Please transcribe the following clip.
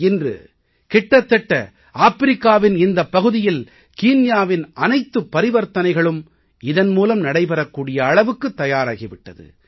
இன்று கிட்டத்தட்ட ஆப்பிரிக்காவின் இந்தப் பகுதியில் கீன்யாவின் அனைத்துப் பரிவர்த்தனைகளும் இதன் மூலம் நடைபெறக் கூடிய அளவுக்கு தயாராகி விட்டது